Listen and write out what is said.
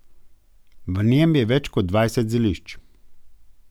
V njem je več kot dvajset zelišč.